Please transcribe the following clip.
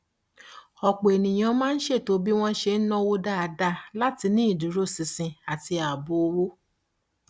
ọpọ ènìyàn máa ń ṣètò bí wọn ṣe ń náwó dáadáa láti ní ìdúróṣinṣin àti ààbò owó